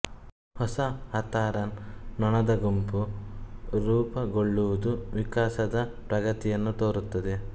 ಹೊಸ ಹಾತಾರನ್ ನೊಣದ ಗುಂಪು ರೂಪಗೊಳ್ಳುವುದು ವಿಕಾಸದ ಪ್ರಗತಿಯನ್ನು ತೋರುತ್ತದೆ